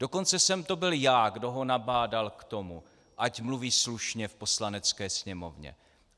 Dokonce jsem to byl já, kdo ho nabádal k tomu, ať mluví slušně v Poslanecké sněmovně.